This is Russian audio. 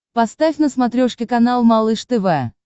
поставь на смотрешке канал малыш тв